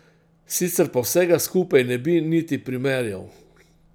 Sicer pa vsega skupaj ne bi niti primerjal.